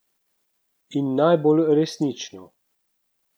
In najbolj resnično.